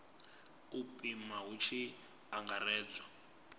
u pima hu tshi angaredzwa